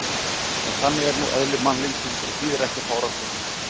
En þannig er nú eðli mannlífsins og þýðir ekki að fárast yfir því.